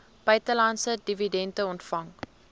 buitelandse dividende ontvang